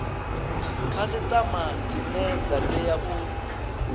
khasiṱama dzine dza tea u